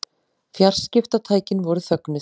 Fjarskiptatækin voru þögnuð.